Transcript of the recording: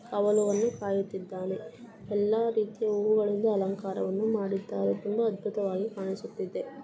ಅವನು ಅನ್ನು ಕಾಯುತ್ತಿದ್ದಾನೆ. ಎಲ್ಲಾ ರೀತಿಯ ಹೂವುಗಳನ್ನು ಅಲಂಕಾರವನ್ನು ಮಾಡಿದ್ದಾರೆ. ತುಂಬಾ ಅದ್ಭುತವಾಗಿ ಕಾಣಿಸುತ್ತಿದೆ.